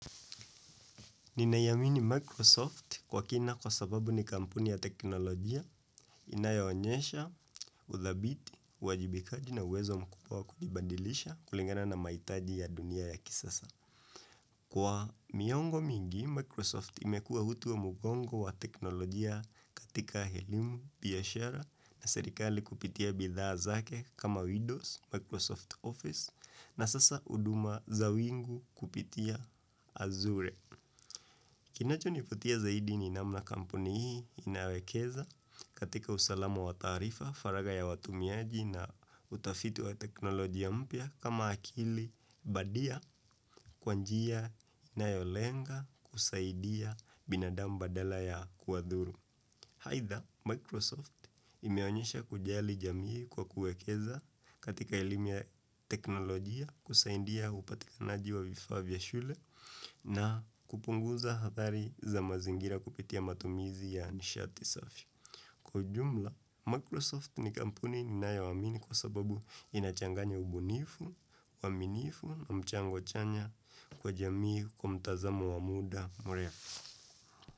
Ninaiamini Microsoft kwa kina kwa sababu ni kampuni ya teknolojia, inayo onyesha, udhabiti, uwajibikaji na uwezo mkubwa wa kujibandilisha kulingana na mahitaji ya dunia ya kisasa. Kwa miongo mingi, Microsoft imekuwa utu wa mugongo wa teknolojia katika helimu, biashara na serikali kupitia bidhaa zake kama Windows, Microsoft Office, na sasa huduma za wingu kupitia azure. Kinacho nifutia zaidi ni namna kampuni hii inawekeza katika usalama wa taarifa, faraga ya watumiaji na utafitu wa teknolojia mpia kama akili badia kwa njia inayolenga kusaidia binadamu dela ya kuwadhuru. Haitha, Microsoft imeonyesha kujali jamii kwa kuekeza katika elimu ya teknolojia kusaidia upatikanaji wa vifa vya shule na kupunguza hathari za mazingira kupitia matumizi ya nishati safi. Kwa ujumla, Microsoft ni kampuni ni nayo amini kwa sababu inachanganya ubunifu, uaminifu na mchango chanya kwa jamii kwa mtazamo wa muda mrefu.